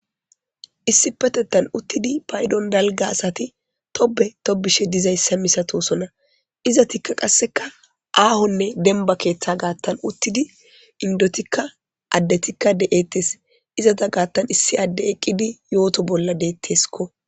issi petettan uttidi paydon dalga asati tobe tobishe dizayssa misatosona izatikka qasseka aahonne denba keeththa gaattan uttidi indotikka addetikka de7ettes izata gaattan issi adde eqqidi yooto bolla deetteskko